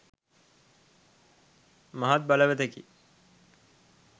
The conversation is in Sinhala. මහත් බලවතෙකි.